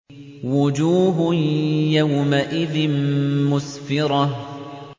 وُجُوهٌ يَوْمَئِذٍ مُّسْفِرَةٌ